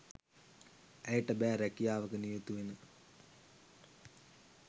ඇයට බෑ රැකියාවක නියුතු වෙන